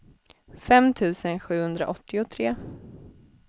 fem tusen sjuhundraåttiotre